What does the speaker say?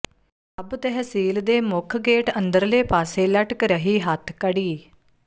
ਸਬ ਤਹਿਸੀਲ ਦੇ ਮੁੱਖ ਗੇਟ ਅੰਦਰਲੇ ਪਾਸੇ ਲਟਕ ਰਹੀ ਹੱਥਕੜੀ